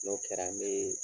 N'o kɛra n be